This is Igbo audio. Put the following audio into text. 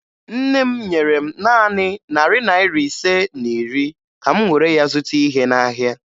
Nne m nyere m naanị narị naịra ise na iri ka m were ya zụta ihe n'ahịa.